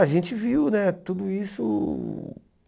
A gente viu né tudo isso